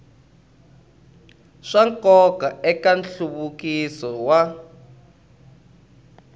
swa nkoka eka nhluvukiso wa